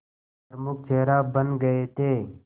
प्रमुख चेहरा बन गए थे